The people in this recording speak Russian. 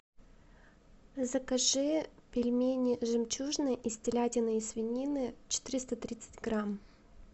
закажи пельмени жемчужные из телятины и свинины четыреста тридцать грамм